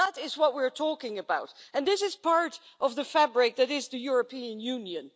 That is what we are talking about and this is part of the fabric that is the European Union.